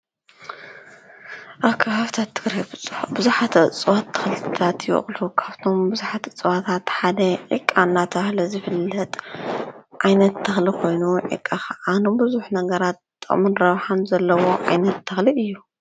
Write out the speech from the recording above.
ኣካብ ሃብቲ እትርብፁሕ ብዙኃተ ጽዋት ተኽልታት ወቕሉ ካብቶም ብዙኃቲ ጽዋታት ሓደ ኢቃናታለ ዘፍለጥ ኣይነት ተኽሊ ኾይኑ ይቃኸ ኣኑ ብዙኅ ነገራ ጠሙን ረብሓን ዘለዎ ኣይነት ተክሊ እዩ።